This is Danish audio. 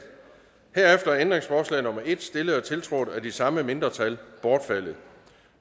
herefter er ændringsforslag nummer en stillet og tiltrådt af de samme mindretal bortfaldet